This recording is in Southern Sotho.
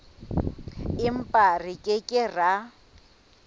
empa re ke ke ra